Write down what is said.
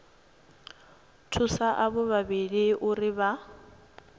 thusa avho vhavhili uri vha